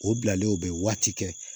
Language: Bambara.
O bilalen o bɛ waati kɛ